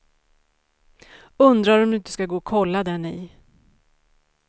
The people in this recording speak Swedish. Undrar om inte du skulle gå och kolla den i.